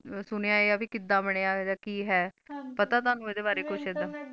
ਸੁਣਿਆ ਵੀ ਕਿਧ ਬਣਿਆ ਕਿ ਹੈ ਪਤਾ ਤੈਨੂੰ ਐਦ੍ਹੇ ਬਾਰੇ ਕੁਛ ਐਧ internet